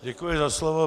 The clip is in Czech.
Děkuji za slovo.